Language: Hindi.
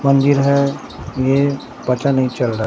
मंदिर है ये पता नहीं चल रहा--